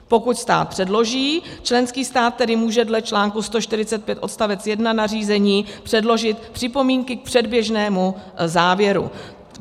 Pokud stát předloží, členský stát tedy může dle článku 145 odst. 1 nařízení předložit připomínky k předběžnému závěru.